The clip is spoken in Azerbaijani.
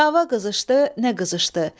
Dava qızışdı, nə qızışdı?